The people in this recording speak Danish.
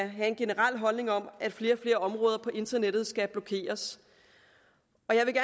have en generel holdning om at flere og flere områder på internettet skal blokeres